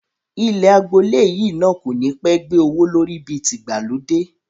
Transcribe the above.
Ilẹ̀ àgboole yìí náà kò ní pẹ́ gbé owó lórí bí ti ìgbàlódé